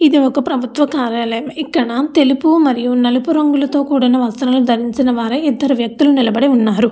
ఇది ఒక ప్రభుత్వ కార్యాలయం ఇక్కడ తెలుపు మరియు నలుపు రంగుల తో కూడిన వస్త్రాలు ధరించిన వారే ఇద్దరు వెక్తులు నిలబడి ఉన్నారు.